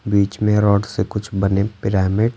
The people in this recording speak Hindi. बीच में रॉड से कुछ बने पिरामिड --